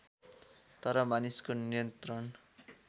तर मानिसको नियन्त्रण